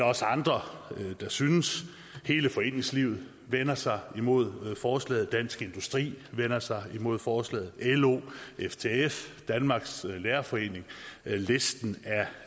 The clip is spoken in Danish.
også andre der synes hele foreningslivet vender sig imod forslaget dansk industri vender sig imod forslaget lo ftf danmarks lærerforening listen